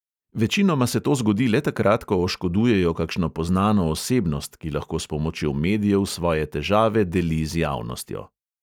Večinoma se to zgodi le takrat, ko oškodujejo kakšno poznano osebnost, ki lahko s pomočjo medijev svoje težave deli z javnostjo.